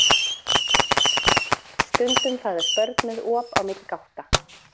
Stundum fæðast börn með op á milli gátta.